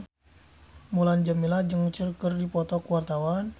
Mulan Jameela jeung Cher keur dipoto ku wartawan